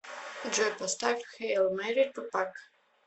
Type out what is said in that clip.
джой поставь хэйл мэри тупак